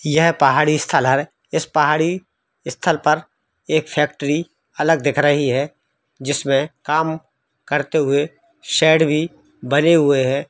यह पहाड़ी स्थल इस पहाड़ी स्थल पर एक फैक्ट्री अलग दिख रही है जिसमें काम करते हुए शेड भी बने हुए हैं।